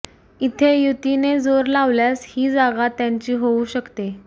ईथे युतीने जोर लावल्यास हि जागा त्यांची होऊ शकते